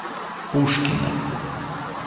пушкина